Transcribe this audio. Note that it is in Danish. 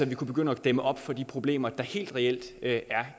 vi kunne begynde at dæmme op for de problemer der helt reelt er